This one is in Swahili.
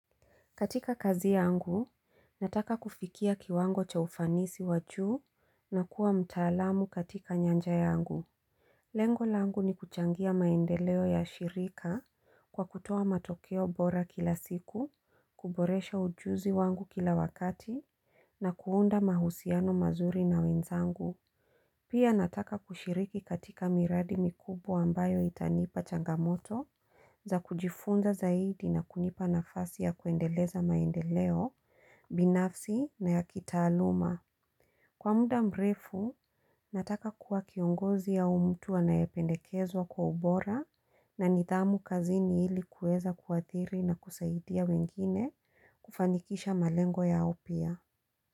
Katika kazi yangu, nataka kufikia kiwango cha ufanisi wa juu na kuwa mtaalamu katika nyanja yangu. Lengo langu ni kuchangia maendeleo ya shirika kwa kutoa matokeo bora kila siku, kuboresha ujuzi wangu kila wakati na kuunda mahusiano mazuri na wenzangu. Pia nataka kushiriki katika miradi mikubwa ambayo itanipa changamoto za kujifunza zaidi na kunipa nafasi ya kuendeleza maendeleo, binafsi na ya kitaaluma. Kwa muda mrefu, nataka kuwa kiongozi au mtu anayependekezwa kwa ubora na nidhamu kazini hili kueza kuathiri na kusaidia wengine kufanikisha malengo yao pia.